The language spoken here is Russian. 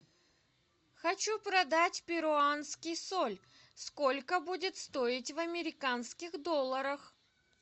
хочу продать перуанский соль сколько будет стоить в американских долларах